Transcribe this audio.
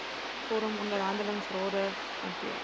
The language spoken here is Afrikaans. vorm onderhandelingsrade hanteer